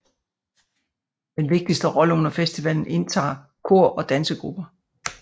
Den vigtigste rolle under festivalen indtager kor og dansegrupper